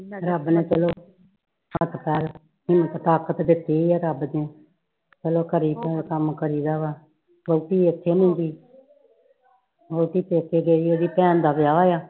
ਰੱਬ ਨੇ ਚੱਲੋ ਹੱਥ ਪੈਰ ਠੀਕ ਠਾਕ ਤਾ ਦਿੱਤੇ ਆ ਰੱਬ ਨੇ ਚਲੋ ਘਰੇ ਤੇ ਕੰਮ ਕਰੀ ਦਾ ਵਾ ਕਿਉਂਕਿ ਵਹੁੱਟੀ ਇੱਥੇ ਨੀ ਹੈਗੀ ਵਹੁੱਟੀ ਪੇਕੇ ਗਈ ਆ ਉਹਦੀ ਭੈਣ ਦਾ ਵਿਆਹ ਹੋਇਆ